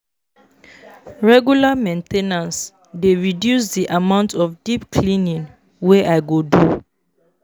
Regular main ten ance dey reduce the amount of deep cleaning wey I go do.